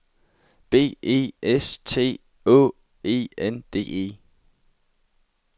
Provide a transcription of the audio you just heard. B E S T Å E N D E